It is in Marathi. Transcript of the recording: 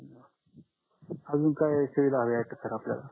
अजून काही सुविधा हवी आहे का सर आपल्याला